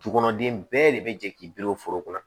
Du kɔnɔ den bɛɛ de bɛ jɛ k'i bolo foro kɔnɔ